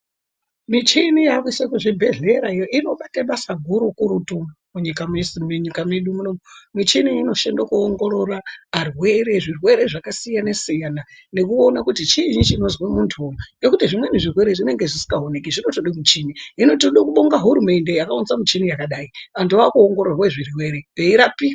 Michini yakuiswa kuzvibhedhlerayo inobata basa gukurutu munyika medu munomu. Mishini inoshanda kuongorora varwere, zvirwere zvakasiyana-siyana, nekuona kuti chiini chinozwa muntu nekuti zvimweni zvirwere zvinonga zvisinga oneki zvinotoda muchini. Hino tinoda kubonga hurumende yakaunza mishini yakadai vantu vaku ongororwa zvirwere veirapika.